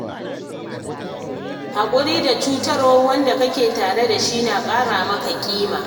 Haƙuri da cutarwar wanda kake tare da shi na ƙara maka ƙima.